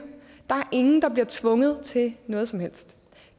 er bliver tvunget til noget som helst